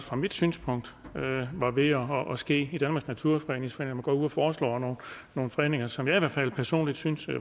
fra mit synspunkt var ved at ske i danmarks naturfredningsforening går ud og foreslår nogle fredninger som jeg i hvert fald personligt synes